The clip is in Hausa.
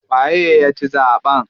Waye ya ci zaɓen?